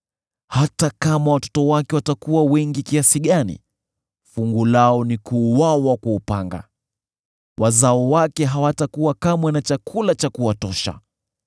Hata kama watoto wake watakuwa wengi kiasi gani, fungu lao ni kuuawa kwa upanga; wazao wake hawatakuwa kamwe na chakula cha kuwatosha.